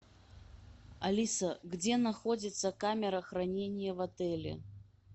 алиса где находится камера хранения в отеле